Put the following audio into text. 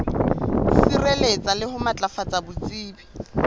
sireletsa le ho matlafatsa botsebi